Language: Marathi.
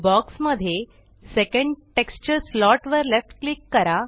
बॉक्स मध्ये सेकंड टेक्स्चर स्लॉट वर लेफ्ट क्लिक करा